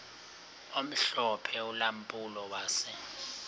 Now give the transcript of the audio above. omhlophe ulampulo wase